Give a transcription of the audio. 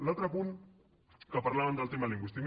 l’altre punt que parlaven del tema lingüístic